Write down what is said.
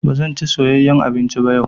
Ba zan ci soyeyyan abinci ba yau.